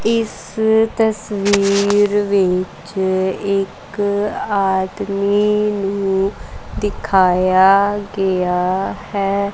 ਇਸ ਤਸਵੀਰ ਵਿੱਚ ਇੱਕ ਆਦਮੀ ਨੂੰ ਦਿਖਾਇਆ ਗਿਆ ਹੈ।